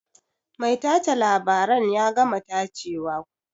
Mai tace labaren ya gama tacewa?